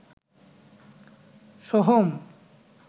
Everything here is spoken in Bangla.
সোহম